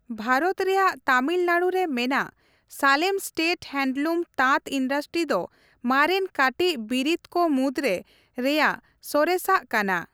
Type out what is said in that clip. ᱵᱷᱟᱨᱚᱛ ᱨᱮᱭᱟᱜ ᱛᱟᱢᱤᱞᱱᱟᱲᱩ ᱨᱮ ᱢᱮᱱᱟᱜ ᱥᱟᱞᱮᱢ ᱥᱴᱮᱴ ᱦᱮᱱᱰᱞᱩᱢ ᱛᱟᱸᱛ ᱤᱱᱰᱟᱥᱴᱨᱤ ᱫᱚ ᱢᱟᱨᱮᱱ ᱠᱟᱹᱴᱤᱡ ᱵᱤᱨᱤᱛ ᱠᱚ ᱢᱩᱫᱽᱨᱮ ᱨᱮᱭᱟᱜ ᱥᱚᱨᱮᱥᱟᱜ ᱠᱟᱱᱟ ᱾